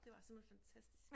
Det var simpelthen fantastisk